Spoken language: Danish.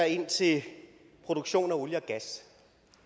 ind til produktion af olie og gas